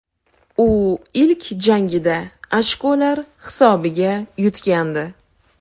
U ilk jangida ochkolar hisobiga yutgandi.